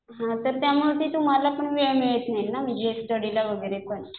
हा तर त्यामुळे ते तुम्हाला पण वेळ मिळत नाही ना म्हणजे स्टडीला वगैरे पण.